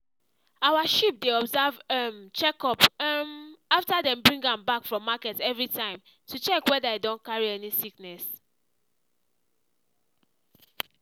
our sheep dey observe um check up um after dem bring am back from market every time to check whether e don carry any sickness.